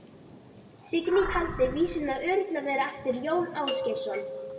Signý taldi vísuna örugglega vera eftir Jón Ásgeirsson.